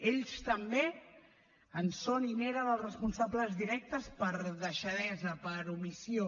ells també en són i n’eren els responsables directes per deixadesa per omissió